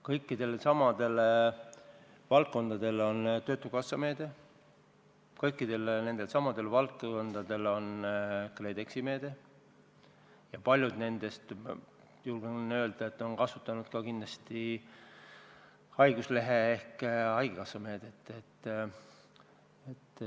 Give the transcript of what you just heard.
Kõikidele nendele valdkondadele on ette nähtud töötukassa meede, kõikidele nendele valdkondadele on ette nähtud KredExi meede ja paljud nendest, ma julgen öelda, on kasutanud kindlasti ka haiguslehte ehk haigekassa meedet.